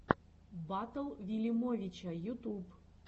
батл вилимовича ютуб